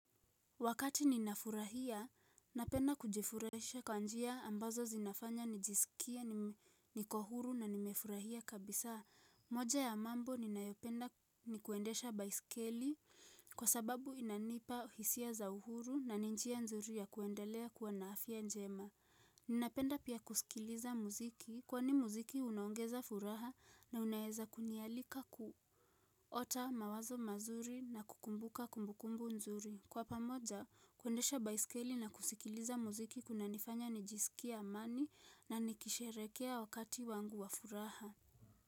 Wakati ninafurahia, napenda kujifurahisha kwa njia ambazo zinafanya nijisikie niko huru na nimefurahia kabisa. Moja ya mambo ninayopenda ni kuendesha baiskeli kwa sababu inanipa hisia za uhuru na ni njia nzuri ya kuendelea kuwa na afya njema. Ninapenda pia kusikiliza muziki kwani muziki unaongeza furaha na unaeza kunialika kuota mawazo mazuri na kukumbuka kumbukumbu nzuri. Kwa pamoja, kuendesha baiskeli na kusikiliza muziki kunanifanya nijisikie amani na nikisherehekea wakati wangu wa furaha.